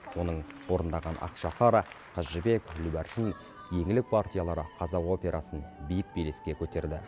оның орындаған ақшақара қыз жібек гүлбаршын еңлік партиялары қазақ операсын биік белеске көтерді